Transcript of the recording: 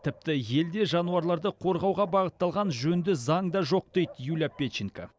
тіпті елде жануарларды қорғауға бағытталған жөнді заң да жоқ дейді юлия педченко